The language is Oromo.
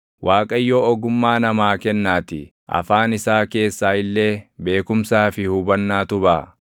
Waaqayyo ogummaa namaa kennaatii; afaan isaa keessaa illee beekumsaa fi hubannaatu baʼa.